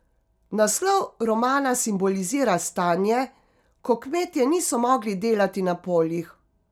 Naslov romana simbolizira stanje, ko kmetje niso mogli delati na poljih.